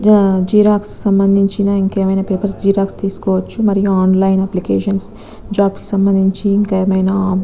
జ జిరొక్ష్ సంబంధించిన ఇంకేమైనా పేపర్స్ జెరాక్స్ తీసుకోవచ్చు మరియు ఆన్‌లైన్ అప్లికేషన్స్ జాబ్స్ కి సంబంధించిన ఇంకా ఏమైనా --